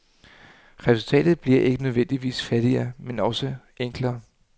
Resultatet bliver ikke nødvendigvis fattigere men også enklere.